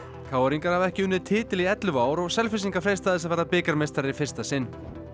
k r ingar hafa ekki unnið titil í ellefu ár og Selfyssingar freista þess að verða bikarmeistarar í fyrsta sinn